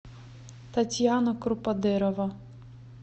татьяна круподерова